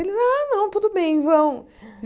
Eles, ah, não, tudo bem, vão.